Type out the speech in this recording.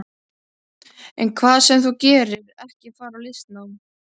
En hvað sem þú gerir, ekki fara í listnám.